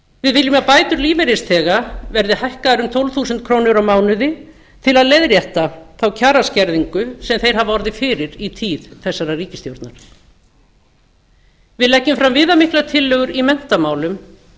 við viljum að bætur lífeyrisþega verði hækkaðar um tólf þúsund ár mánuði til að leiðrétta kjaraskerðingu sem þeir hafa orðið fyrir í tíð þessarar ríkisstjórnar við leggjum fram viðamiklar tillögur í menntamálum